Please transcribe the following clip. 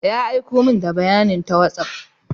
Ya aiko min da bayanin ta WhatsApp.